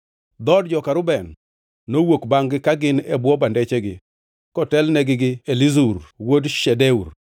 Dhood joka Reuben nowuok bangʼ-gi ka gin e bwo bandechgi, kotelnegi gi Elizur wuod Shedeur.